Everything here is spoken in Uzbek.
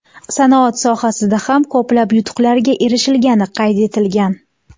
Sanoat sohasida ham ko‘plab yutuqlarga erishilgani qayd etilgan.